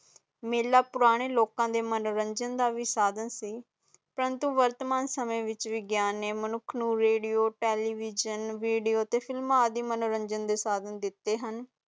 ਮੇਲਾ ਪੁਰਾਣੇ ਲੋਕਾਂ ਦੇ ਮਨੋਰੰਜਨ ਦਾ ਵੀ ਸਾਧਾਂ ਸੀ ਪ੍ਰੰਤੂ ਵਰਤਮਾਨ ਸਮੇਂ ਵਿਚ ਵਿਗਿਆਨ ਨੇ ਮਨੁੱਖ ਨੂੰ ਰੇਡੀਓ ਟੇਲੀਵਿਜਨ, ਵੀਡੀਓ, ਫ਼ਿਲਮ ਆਦਿ ਮਨੋਰੰਜਨ ਦੇ ਸਾਧਾਂ ਦਿਤੇ ਹਨ